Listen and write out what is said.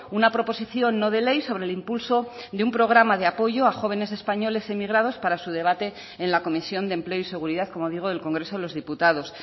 una proposición no de ley sobre el impulso de un programa de apoyo a jóvenes españoles emigrados para su debate en la comisión de empleo y seguridad como digo del congreso de los diputados